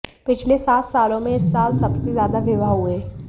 पिछले सात सालों में इस साल सबसे ज्यादा विवाह हुए